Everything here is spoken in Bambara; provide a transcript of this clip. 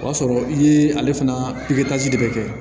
O y'a sɔrɔ i ye ale fana de kɛ